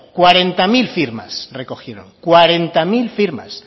cuarenta mil firmas recogieron cuarenta mil firmas